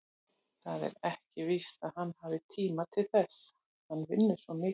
Það er ekkert víst að hann hafi tíma til þess, hann vinnur svo mikið.